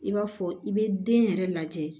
I b'a fɔ i bɛ den yɛrɛ lajɛ